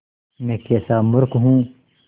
मैं कैसा मूर्ख हूँ